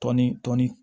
Tɔn ni tɔn ni